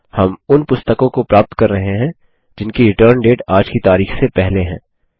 हम उन पुस्तकों को प्राप्त कर रहे हैं जिनकी रिटर्न डेट आज की तारिख से पहले है